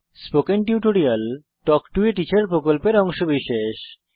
spoken tutorial talk to a teacher প্রকল্পের অংশবিশেষ